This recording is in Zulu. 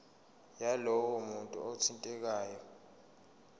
yalowo muntu othintekayo